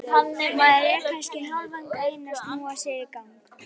Maður er kannski hálfan daginn að snúa sér í gang.